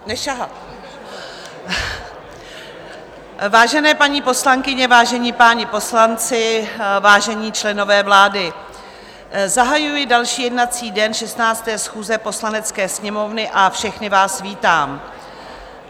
Vážené paní poslankyně, vážení páni poslanci, vážení členové vlády, zahajuji další jednací den 16. schůze Poslanecké sněmovny a všechny vás vítám.